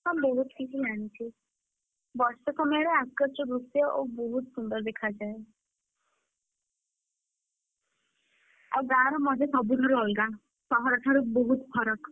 ହଁ ବହୁତ୍ କିଛି ଜାଣିଛି। ବର୍ଷା ସମୟରେ ଆକାଶର ଦୃଶ୍ୟ ଓହୋଃ ବହୁତ ସୁନ୍ଦର ଦେଖାଯାଏ। ଆଉ ଗାଁ ର ମଜା ସବୁଠାରୁ ଅଲଗା, ସହର ଠାରୁ ବହୁତ ଫରକ।